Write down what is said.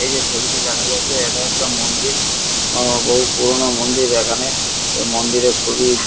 এই যে ছবিটি দেখা যাচ্ছে এটা একটা মন্দির আ বহু পুরোনো মন্দির এখানে এই মন্দির এ খুবই--